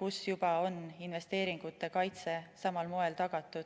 kus juba on investeeringute kaitse samal moel tagatud.